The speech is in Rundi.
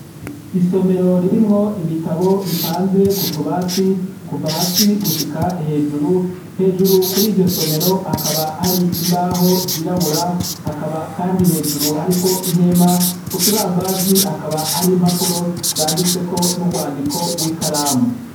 Isomero ririmw' ibitabo bipanze kutubati, kuva hasi gushika hejuru, hejuru kur' iryo somero hakaba har' imbaho zirabura, hakaba kandi hejuru harik' ihema, ku kibambazi hakaba har' impapuro zanditseko n'urwandiko rw'ikaramu, kumpera z' akabati hamanitsek' itaburiya yera.